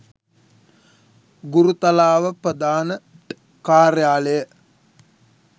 ගුරුතලාව ප්‍රධාන ට් කාර්යාලය